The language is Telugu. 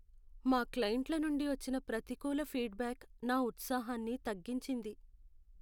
మా క్లయింట్ల నుండి వచ్చిన ప్రతికూల ఫీడ్ బ్యాక్ నా ఉత్సాహాన్ని తగ్గించింది.